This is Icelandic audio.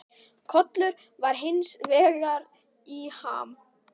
Kollur var hins vegar í ham.